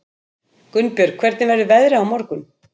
Gunnbjörg, hvernig verður veðrið á morgun?